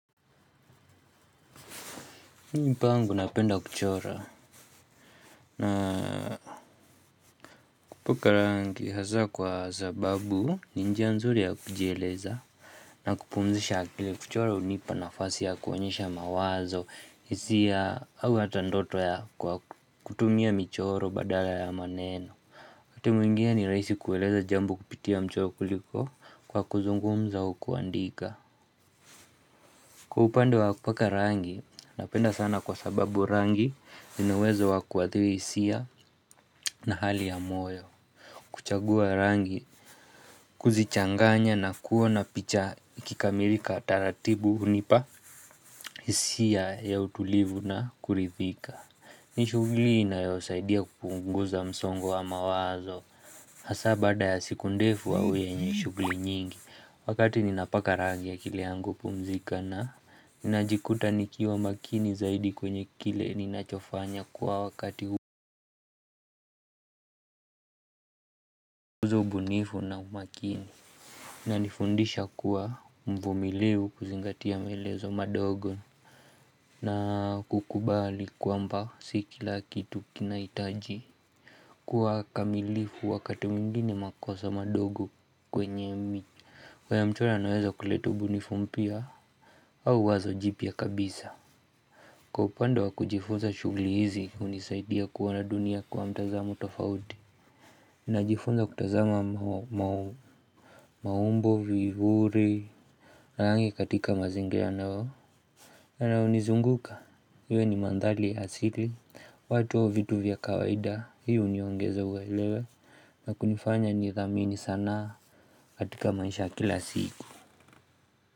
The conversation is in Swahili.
Mimi pangu napenda kuchora na kupaka rangi hasa kwa sababu ni njia nzuri ya kujieleza na kupumzisha akili kuchora hunipa nafasi ya kuonyesha mawazo hisia au hata ndoto ya kutumia michoro badala ya maneno. Wakati mwingine ni rahisi kueleza jambo kupitia mchoro kuliko kwa kuzungumza au kuandika. Kwa upande wa kupaka rangi, napenda sana kwa sababu rangi, ina uwezo wa kuathiri hisia na hali ya moyo, kuchagua rangi, kuzichanganya na kuona picha ikikamilika taratibu hunipa hisia ya utulivu na kuridhika. Ni shughuli inayosaidia kupunguza msongo wa mawazo. Hasa baada ya siku ndefu au yenye shughuli nyingi. Wakati ninapaka ragi akili yangu hupumzika na ninajikuta nikiwa makini zaidi kwenye kile ninachofanya kwa wakati uzo ubunifu na umakini. Nanifundisha kuwa mvumilivu kuzingatia maelezo madogo na kukubali kwamba si kila kitu kinahitaji kuwa kamilifu wakati mwingini makosa madogo kwenye mi. Kwa ya mchoro naweza kuleta ubunifu mpya au wazo jipya kabisa. Kwa upande wa kujifunza shughuli hizi hunisaidia kuona dunia kwa mtazamo tofauti. Najifunza kutazama maumbo, vizuri na rangi katika mazingira nao na hunizunguka. Iwe ni mandhari ya asili watu au vitu vya kawaida. Hii huniongeza uwelewe na kunifanya nidhamini sanaa katika maisha ya kila siku.